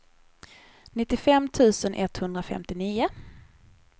nittiofem tusen etthundrafemtionio